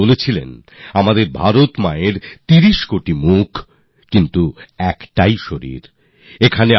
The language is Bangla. আর তিনি বলেছিলেন ভারত মাতার ৩০ কোটি চেহারা হতে পারে কিন্তু শরীর একটাই